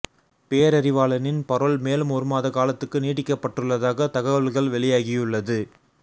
பேரறிவாளனின் parole மேலும் ஒரு மாத காலத்துக்கு நீடிக்கப்பட்டுள்ளதாக தகவல்கள் வெளியாகியுள்ளது